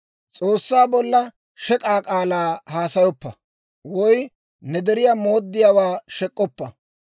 «S'oossaa bolla shek'aa k'aalaa haasayoppa, woy ne deriyaa mooddiyaawaa shek'k'oppa.